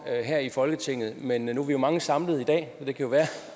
her i folketinget men nu er vi jo mange samlet i dag og det kan være